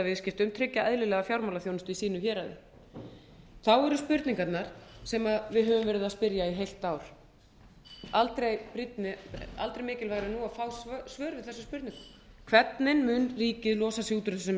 viðskiptum tryggja eðlilega fjármálaþjónustu í sínu héraði þá eru spurningarnar sem við höfum verið að spyrja í heilt ár aldrei mikilvægara en nú að fá svör við þessum spurningum hvernig mun ríkið losa sig út úr þessum